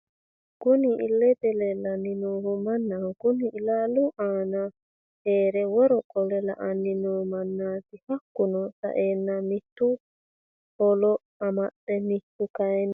Kunni illete leelani noohu manaho kunni illalu aana heere worro qole la"Ani noo manati hakiino sa'eena mittu hallo amaxe mittu kayiini..